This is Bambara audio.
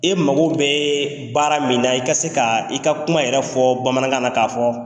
I mago bɛ baara min na , i ka se ka i ka kuma yɛrɛ fɔ Bamanankan na , k'a fɔ